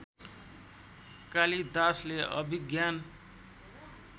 कालिदासले अभिज्ञान